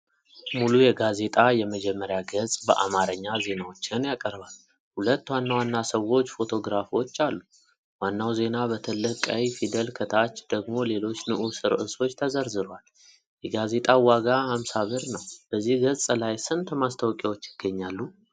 ሙሉ የጋዜጣ የመጀመሪያ ገጽ በአማርኛ ዜናዎችን ያቀርባል። ሁለት ዋና ዋና ሰዎች ፎቶግራፎች አሉ። ዋናው ዜና በትልቅ ቀይ ፊደል ከታች ደግሞ ሌሎች ንዑስ ርዕሶች ተዘርዝረዋል። የጋዜጣው ዋጋ 50.00 ብር ነው። በዚህ ገጽ ላይ ስንት ማስታወቂያዎች ይገኛሉ?